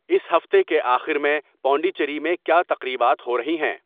اس ہفتے کے آخر میں پانڈچیری میں کیا تقریبات ہو رہی ہیں